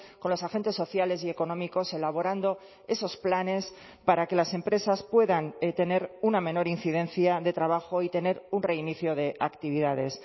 con los agentes sociales y económicos elaborando esos planes para que las empresas puedan tener una menor incidencia de trabajo y tener un reinicio de actividades